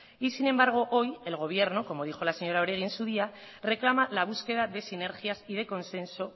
y sin embargo hoy el gobierno como dijo la señora oregi en su día reclama la búsqueda de sinergias y de consenso